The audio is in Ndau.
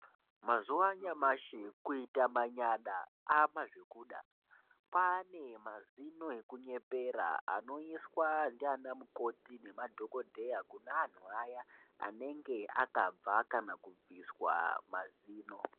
Mazuwa anyamashi kuita manyada amazvokuda kwane mazino ekunyepera anoiswa ndiana mukoti nemadhokodheya Kune anhu aya anenge akabva kana kubviswa mazino